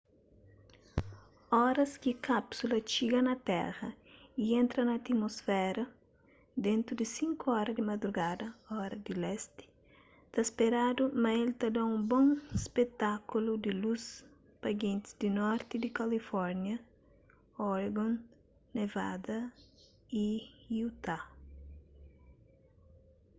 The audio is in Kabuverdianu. oras ki kápsula txiga na téra y entra na atmusféra dentu di 5 ora di madrugada ora di lesti ta speradu ma el ta da un bon spetákulu di lus pa gentis di norti di kalifórnia oregon nevada y utah